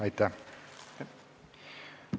Aitäh!